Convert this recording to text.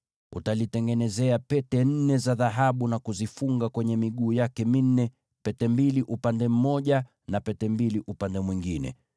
Utalisubu kwa pete nne za dhahabu na kuzifungia kwenye miguu yake minne, pete mbili kwa upande mmoja na pete mbili kwa upande mwingine.